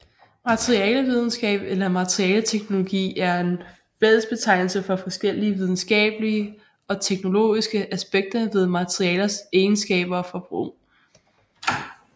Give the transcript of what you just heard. Materialevidenskab eller materialeteknologi er en fællesbetegnelse for forskellige videnskabelige og teknologiske aspekter ved materialers egenskaber og brug